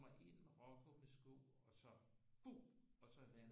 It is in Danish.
Kommer ind med rågummisko og så og så lander jeg